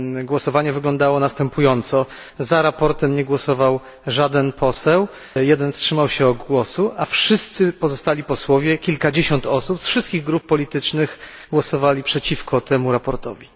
Otóż wyglądało ono następująco za sprawozdaniem nie głosował żaden poseł, jeden wstrzymał się od głosu, a wszyscy pozostali posłowie, kilkadziesiąt osób z wszystkich grup politycznych, głosowali przeciwko temu sprawozdaniu.